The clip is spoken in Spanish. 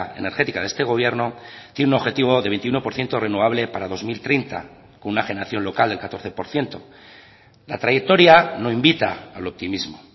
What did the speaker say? energética de este gobierno tiene un objetivo de veintiuno por ciento renovable para dos mil treinta con una generación local del catorce por ciento la trayectoria no invita al optimismo